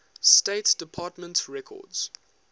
state department records